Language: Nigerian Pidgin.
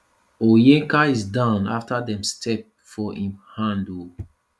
onyeka is down afta dem step for im hand ooo